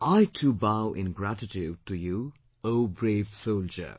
I too bow in gratitude to you O brave soldier